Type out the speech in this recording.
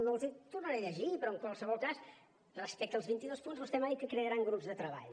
no els hi tornaré a llegir però en qualsevol cas respecte als vint i dos punts vostè m’ha dit que crearan grups de treball